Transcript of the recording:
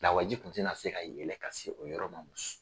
Lawaji kun tɛ na se ka yɛlɛ ka se o yɔrɔ ma muso